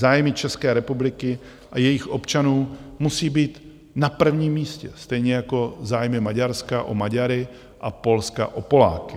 Zájmy České republiky a jejích občanů musí být na prvním místě, stejně jako zájmy Maďarska o Maďary a Polska o Poláky.